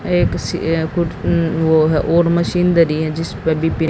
एक सी अ वो है वो वोड मशीन धरी हैं जिसपे --